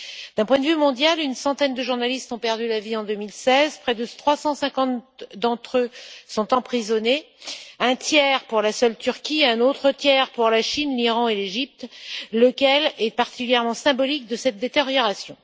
D'un point de vue mondial, une centaine de journalistes ont perdu la vie en 2016, près de 350 d'entre eux sont emprisonnés, un tiers pour la seule Turquie, un autre tiers pour la Chine, l'Iran et l'Égypte, lequel est particulièrement symbolique de cette détérioration.